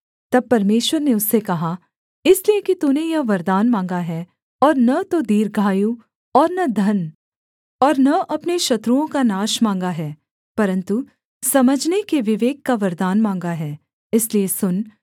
तब परमेश्वर ने उससे कहा इसलिए कि तूने यह वरदान माँगा है और न तो दीर्घायु और न धन और न अपने शत्रुओं का नाश माँगा है परन्तु समझने के विवेक का वरदान माँगा है इसलिए सुन